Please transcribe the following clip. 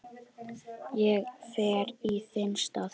Ég fer í þinn stað